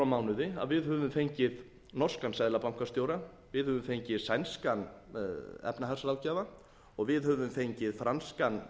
mánuði að við höfum fengið norskan seðlabankastjóra við höfum fengið sænskan efnahagsráðgjafa við höfum fengið franskan